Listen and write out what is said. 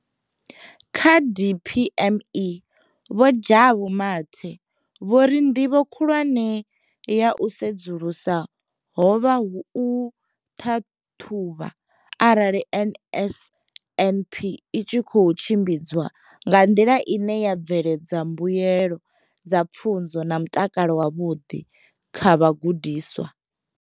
Kha DPME, Vho Jabu Mathe, vho ri nḓivho khulwane ya u sedzulusa ho vha u ṱhaṱhuvha arali NSNP i tshi khou tshimbidzwa nga nḓila ine ya bveledza mbuelo dza pfunzo na mutakalo wavhuḓi kha vhagudiswa.